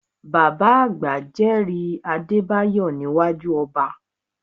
Bàbá àgbà jẹ́rìí Adébáyọ̀ níwájú ọba